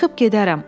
Çıxıb gedərəm.